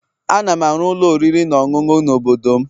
Ana m arụ ụlọ oriri na ọṅụṅụ n'obodo m